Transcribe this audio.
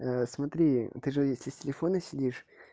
смотри ты же если с телефона сидишь